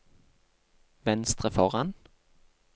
venstre foran